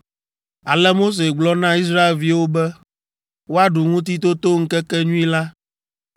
Ale Mose gblɔ na Israelviwo be woaɖu Ŋutitotoŋkekenyui la,